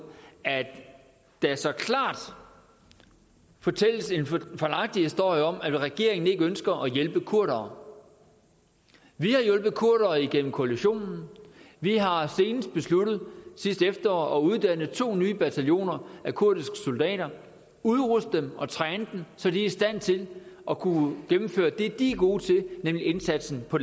at der så klart fortælles en fejlagtig historie om at regeringen ikke ønsker at hjælpe kurdere vi har hjulpet kurdere igennem koalitionen og vi har senest besluttet sidste efterår at uddanne to nye bataljoner af kurdiske soldater udruste dem og træne dem så de er i stand til at kunne gennemføre det de er gode til nemlig indsatsen på